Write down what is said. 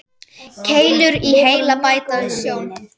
Keilur í heila bæta sjón.